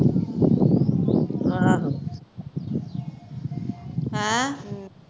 ਆਹੋ